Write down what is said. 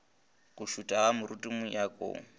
go šutha ga moriti mojakong